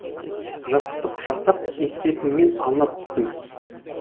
жастықты құшақтап екпетімнен аунап түстім